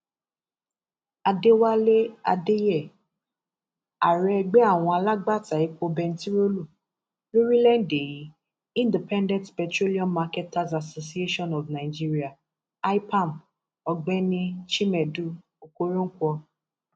àdẹwálé àdèyẹ ààrẹ ẹgbẹ àwọn alágbàtà epo bẹntiróòlù lórílẹèdè yìí independent petroleum marketers association of nigeria ipam ọgbẹni chimẹdù okoronkwo